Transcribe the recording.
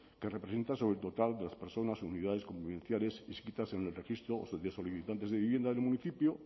que representa sobre el total de las personas o unidades convivenciales inscritas en el registro de solicitantes de vivienda del municipio